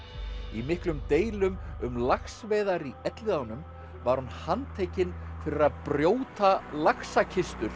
í miklum deilum um laxveiðar í Elliðaánum var hún handtekin fyrir að brjóta